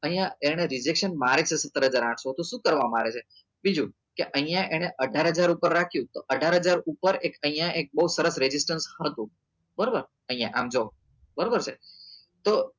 અહિયાં એને rejection મારે છે સત્તર હજાર સાતસો તો શું કરવા મારે છે બીજું કે અહિયાં એને અઢાર હજાર ઉપર રાખ્યું તો અઢાર હજાર ઉપર એક અહિયાં એક બઉ સરસ rejection હતું બરોબર અહિયાં આમ જોવો બરોબર છે તો